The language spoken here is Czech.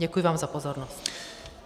Děkuji vám za pozornost.